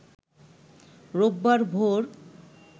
রোববার ভোর